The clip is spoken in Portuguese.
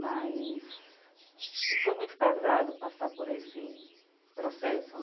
Mas foi muito pesado passar por esse processo.